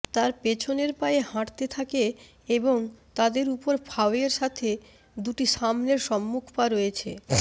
তার পেছনের পায়ে হাঁটতে থাকে এবং তাদের উপর ফাওয়ের সাথে দুটি সামনের সম্মুখ পা রয়েছে